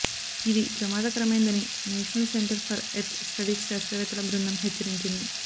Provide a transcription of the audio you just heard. ఇది ప్రమాదకరమైందని national centre for earth studies శాస్త్రవేత్తల బృందం హెచ్చరించింది